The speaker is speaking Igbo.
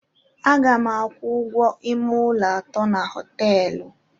Aga m akwụ ụgwọ ime ụlọ atọ na hoteelu